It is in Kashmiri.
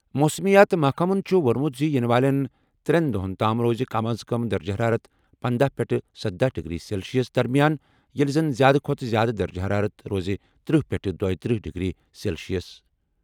موسمیات محکمَن چھُ ووٚنمُت زِ یِنہٕ والٮ۪ن ترٛٮ۪ن دۄہَن تام روزِ کم از کم درجہٕ حرارت 15 پٮ۪ٹھ 17 ڈگری سیلسیس درمِیان، ییٚلہِ زَن زِیٛادٕ کھۄتہٕ زِیٛادٕ درجہٕ حرارت روزِ 30 پٮ۪ٹھ 32 ڈگری سیلسیس۔